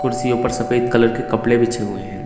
कुर्सियो पर सफेद कलर के कपड़े बिछे हुए है।